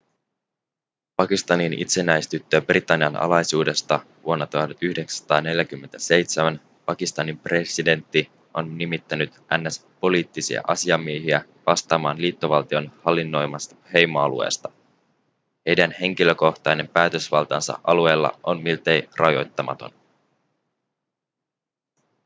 pakistanin itsenäistyttyä britannian alaisuudesta vuonna 1947 pakistanin presidentti on nimittänyt ns poliittisia asiamiehiä vastaamaan liittovaltion hallinnoimasta heimoalueesta heidän henkilökohtainen päätösvaltansa alueilla on miltei rajoittamaton